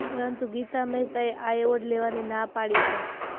પરંતુ ગીતા મહેતાએ આ એવોર્ડ લેવાની ના પાડી છે